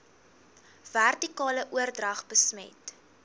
vertikale oordrag besmet